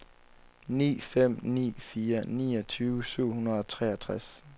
ni fem ni fire niogtyve syv hundrede og treogtres